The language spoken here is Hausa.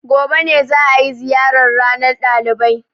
Gobe ne za a yi ziyarar ranar ɗalibai.